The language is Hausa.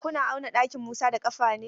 Kuna auna ɗakin Musa da ƙafa ne?